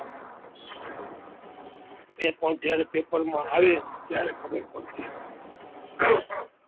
એકવાર જ્યારે પેપરમાં આવે ત્યારે ખબર પડે